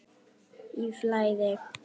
Í flæði.